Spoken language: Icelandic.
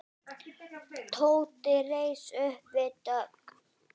Tóti reis upp við dogg.